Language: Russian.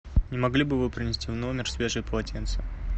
не могли бы вы принести в номер свежее полотенце